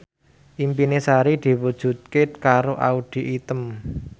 impine Sari diwujudke karo Audy Item